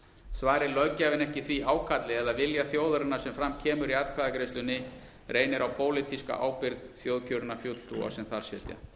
svari löggjafinn ekki því ákalli eða vilja þjóðarinnar sem fram kemur í atkvæðagreiðslunni reynir á pólitíska ábyrgð þjóðkjörinna fulltrúa sem þar sitja